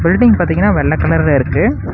Building பாத்தீங்கன்னா வெள்ள கலர்ல இருக்கு.